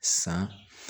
San